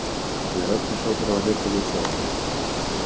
народ пошёл провожать пугачёва